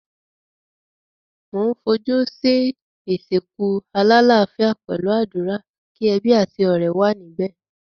Mo n fojú si ìsìnkú alálafíà pẹ̀lu àdúrà, ki ebí àti ọ̀rẹ́ wa níbẹ̀.